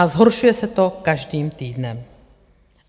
A zhoršuje se to každým týdnem.